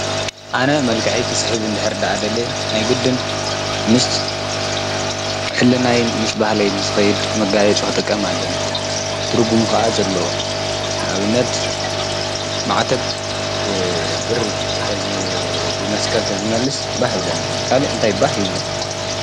ኣነ መልካዐ ክስሕብ እንድኅር ደ ኣደለየ ናይ ግድን ምስ ሕልናይን ምስ ባህለይ ዝኸይድ መጋየ ጸ ኸጠቀም ኣለኒ ድርጉም ኸዓ ዘለዉ ናብነት ማዕተብ ብብሪ ብመስቀል ተዝመልስ ባህ እንብለኒ ካልእ እንታይ ባህ ይብሎ?